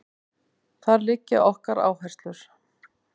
Þar liggja okkar áherslur